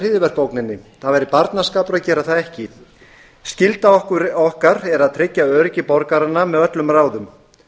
hryðjuverkaógninni það væri barnaskapur að gera það ekki skylda okkar er að tryggja öryggi borgaranna með öllum ráðum